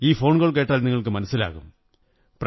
ഈ ഫോണ്കോ്ൾ കേട്ടാൽ നിങ്ങള്ക്കു് മനസ്സിലാകും